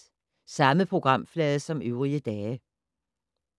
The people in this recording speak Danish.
Samme programflade som øvrige dage